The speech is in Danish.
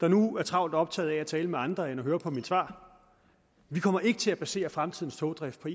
nu er travlt optaget af at tale med andre at høre på mit svar vi kommer ikke til at basere fremtidens togdrift på